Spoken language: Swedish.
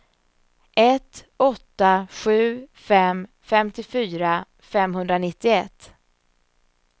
ett åtta sju fem femtiofyra femhundranittioett